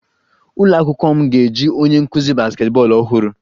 Ụlọ akwụkwọ m ga-eji onye nkuzi basketball ọhụrụ